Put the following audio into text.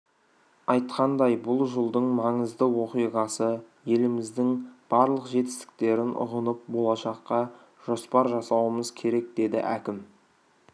айтқандай бұл жылдың маңызды оқиғасы еліміздің барлық жетістіктерін ұғынып болашаққа жоспар жасауымыз керек деді әкім